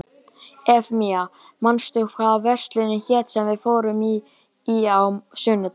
Eufemía, manstu hvað verslunin hét sem við fórum í á sunnudaginn?